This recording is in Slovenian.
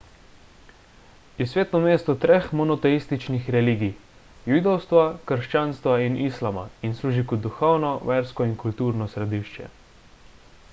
je sveto mesto treh monoteističnih religij – judovstva krščanstva in islama in služi kot duhovno versko in kulturno središče